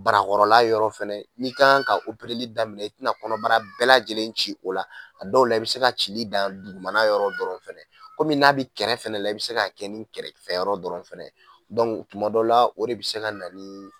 Barakɔrɔla yɔrɔ fɛnɛ, i ka kan daminɛ i kan ka daminɛ, i bina kɔnɔbara bɛɛ lajɛlen ci o la, a dɔw la, i bi se ka cili daminɛ dugumana yɔrɔ dɔrɔn fɛnɛ, komi n'a bi kɛrɛ fɛnɛ la, i bi se ka kɛ nin kɛrɛfɛ yɔrɔ dɔrɔn fɛnɛ ye, kuma dɔ la, o de bi se ka na ni